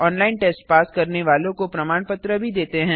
online test pass करने वालों को प्रमाण पत्र भी देते हैं